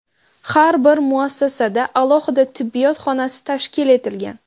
Har bir muassasada alohida tibbiyot xonasi tashkil etilgan.